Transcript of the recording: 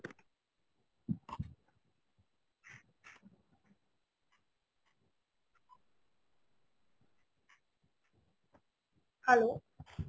hello